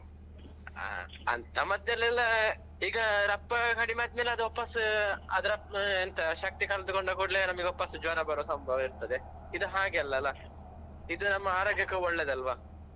ಹಾ ಅಂತ ಮದ್ದಲೆಲ್ಲ ಈಗ ರಪ್ಪ ಕಡಿಮೆ ಆದ್ಮೇಲೆ ಅದ್ ವಾಪಸ್ ಅದ್ರ ಎಂತ ಶಕ್ತಿ ಕಮ್ಮಿ ತೆಕೊಂಡ ಕೂಡ್ಲೇ ನಮಿಗೆ ವಾಪಸ್ ಜ್ವರ ಬರುವ ಸಂಭವ ಇರ್ತದೆ ಇದ್ ಹಾಗೆಲ್ಲಲ್ಲ ಇದ್ ನಮ್ಮ ಆರೋಗ್ಯಕ್ಕೆ ಒಳ್ಳೇದಲ್ವಾ.